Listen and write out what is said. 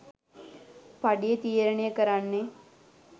පඩිය තීරණය කරන්නේ.